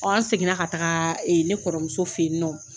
an segin na ka taga ne kɔrɔmuso fɛ yen nɔ.